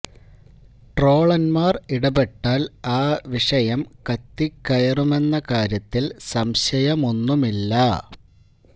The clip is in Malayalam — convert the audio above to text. ട്രോളന്മാർ ഇടപെട്ടാൽ ആ വിഷയം കത്തി കയറുമെന്ന കാര്യത്തിൽ സംശയമൊന്നുമില്ല